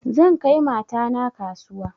Zan kai mata na kasuwa